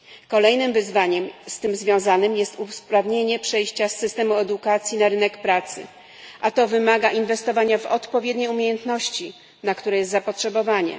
Kolejnym wyzwaniem z tym związanym jest usprawnienie przejścia z systemu edukacji na rynek pracy, a to wymaga inwestowania w odpowiednie umiejętności, na które jest zapotrzebowanie.